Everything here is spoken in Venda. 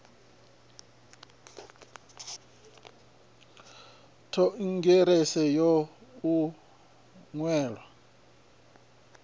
khonthirakha yo to u nwalwa